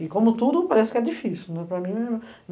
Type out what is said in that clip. E, como tudo, parece que é difícil, né, para mim